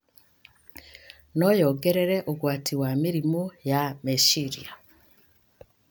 no yongerere ũgwati wa mĩrimũ ya meciria.